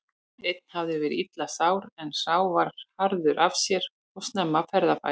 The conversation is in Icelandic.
Einn hafði verið illa sár en sá var harður af sér og snemma ferðafær.